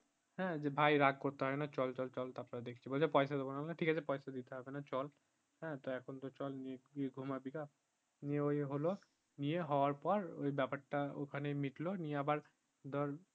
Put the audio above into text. হ্যাঁ যে ভাই রাগ করতে হয়না চল চল চল দেখছি বলছে পয়সা দিবোনা আমি বললাম ঠিক আছে পয়সা দিতে হবেনা চল হ্যাঁ তো এখন তো তুই চল তুই ঘুমাবিগা নিয়ে ওই হলো নিয়ে হওয়ার পর ওই ব্যাপারটা মিটলো নিয়ে আবার ধর